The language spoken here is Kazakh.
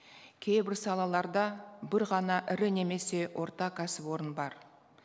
кейбір салаларда бір ғана ірі немесе орта кәсіпорын бар